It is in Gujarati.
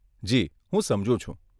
જી, હું સમજુ છું.